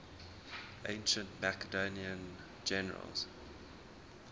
ancient macedonian generals